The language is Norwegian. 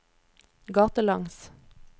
gatelangs